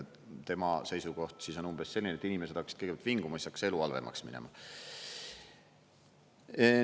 Tema seisukoht on umbes selline, et inimesed hakkasid kõigepealt vinguma ja siis hakkas elu halvemaks minema.